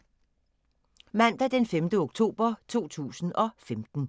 Mandag d. 5. oktober 2015